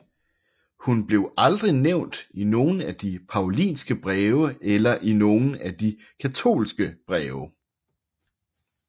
Hun blev aldrig nævnt i nogen af de Paulinske breve eller i nogen af de katolske breve